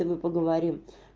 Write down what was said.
и мы поговорим